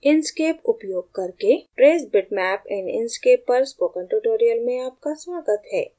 inkscape उपयोग करके trace bitmap in inkscape पर spoken tutorial में आपका स्वागत है